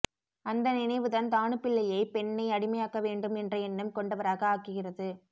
அந்த நினைவுதான் தாணுபிள்ளையை பெண்ணை அடிமையாக்கவேண்டும் என்ற எண்ணம் கொண்டவராக ஆக்குகிறது